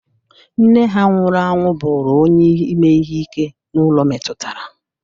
Nne ha nwụrụ anwụ bụrụ onye ime ihe ike n'ụlọ metụtara.